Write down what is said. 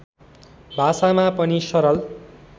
भाषामा पनि सरल